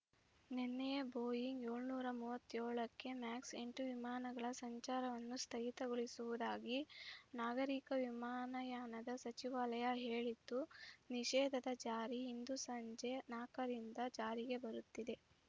ನಿನ್ನೆಯೇ Boeing ಏಳುನೂರ ಮೂವತ್ತೇಳು max ಎಂಟು ವಿಮಾನಗಳ ಸಂಚಾರವನ್ನು ಸ್ಥಗಿತಗೊಳಿಸುವುದಾಗಿ ನಾಗರಿಕ ವಿಮಾನಯಾನದ ಸಚಿವಾಲಯ ಹೇಳಿತ್ತು ನಿಷೇಧದ ಜಾರಿ ಇಂದು ಸಂಜೆ ನಾಲ್ಕರಿಂದ ಜಾರಿಗೆ ಬರುತ್ತಿದೆ